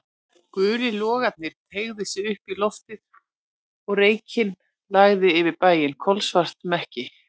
Gulir logarnir teygðu sig upp í loftið og reykinn lagði yfir bæinn, kolsvarta mekki.